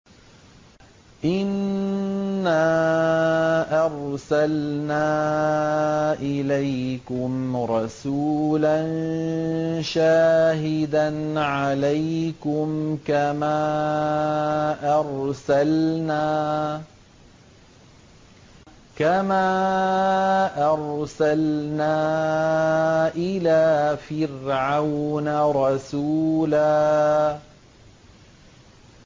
إِنَّا أَرْسَلْنَا إِلَيْكُمْ رَسُولًا شَاهِدًا عَلَيْكُمْ كَمَا أَرْسَلْنَا إِلَىٰ فِرْعَوْنَ رَسُولًا